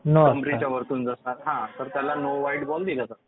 कमरेच्या वरतून असेल तर त्याला नो बॉल दिला जातो.